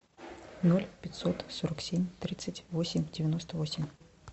ноль пятьсот сорок семь тридцать восемь девяносто восемь